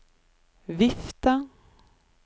vifte